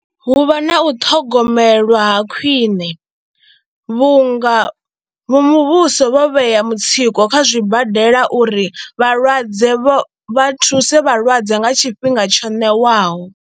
Hu vha na u ṱhogomelwa ha khwine vhunga vha muvhuso vho vhea mutsiko kha zwibadela uri vhalwadze vha vha thuse vhalwadze nga tshifhinga tsho ṋewaho.